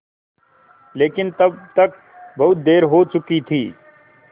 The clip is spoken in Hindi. लेकिन तब तक बहुत देर हो चुकी थी